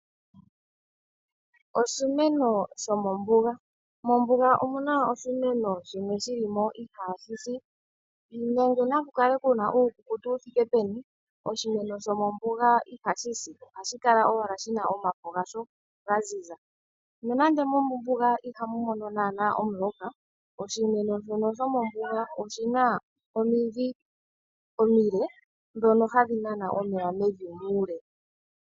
Oshimeno shomombuga. Mombuga omuna oshimeno shimwe shili mo ihaashi si , nande nakukale kuna uukukutu wuthike peni oshimeno shomombuga ihashi si. Ohashi kala owala shina omafo gasho gaziza. Nondando mombuga ihamu mono naanaa omuloka, oshimeno shono shomombuga oshina omidhi omile ndhono hadhi nana omeya mevi muule.